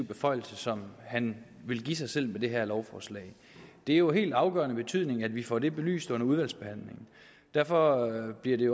beføjelse som han vil give sig selv med det her lovforslag det er jo af helt afgørende betydning at vi får det belyst under udvalgsbehandlingen og derfor bliver det